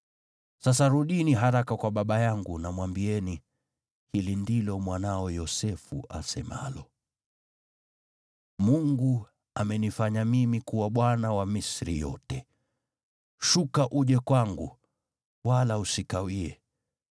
Sasa rudini haraka kwa baba yangu na mwambieni, ‘Hili ndilo mwanao Yosefu asemalo: Mungu amenifanya mimi kuwa bwana wa Misri yote. Shuka uje kwangu, wala usikawie.